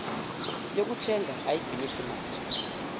yokuthenga ayigwinyisi mathe